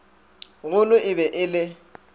golo e be e le